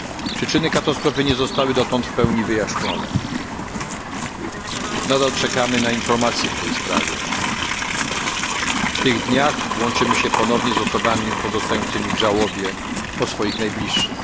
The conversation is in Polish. Przyczyny katastrofy nie zostały dotąd w pełni wyjaśnione, nadal czekamy na informacje w tej sprawie. W tych dniach łączymy się ponownie z osobami pozostającymi w żałobie po swoich najbliższych.